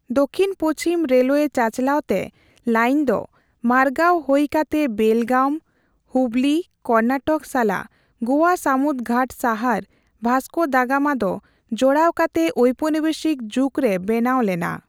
ᱫᱚᱠᱠᱷᱤᱱ ᱯᱩᱪᱷᱤᱢ ᱨᱮᱞᱣᱮ ᱪᱟᱼᱪᱟᱞᱟᱣ ᱛᱮ ᱞᱟᱭᱤᱱᱫᱚ ᱢᱟᱨᱜᱟᱣ ᱦᱳᱭ ᱠᱟᱛᱮ ᱵᱮᱞᱜᱟᱢ, ᱦᱩᱵᱞᱤ, ᱠᱚᱨᱱᱟᱴᱚᱠ ᱥᱟᱞᱟᱜ ᱜᱳᱣᱟ ᱥᱟᱢᱩᱫ ᱜᱷᱟᱴ ᱥᱟᱦᱟᱨ ᱵᱷᱟᱥᱠᱳ ᱫᱟ ᱜᱟᱢᱟ ᱫᱚ ᱡᱚᱲᱟᱣ ᱠᱟᱛᱮ ᱳᱣᱯᱚᱱᱤᱵᱮᱥᱤᱠ ᱡᱩᱜ ᱨᱮ ᱵᱮᱱᱟᱣ ᱞᱮᱱᱟ ᱾